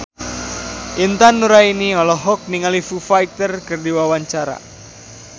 Intan Nuraini olohok ningali Foo Fighter keur diwawancara